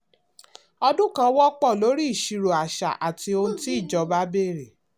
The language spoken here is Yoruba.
ọdún kan wọ́pọ̀ lórí ìṣirò àṣà àti ohun tí ìjọba béèrè.